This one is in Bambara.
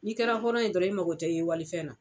N'i kɛra hɔrɔn ye dɔrɔn i mago tɛ ye walifɛn na.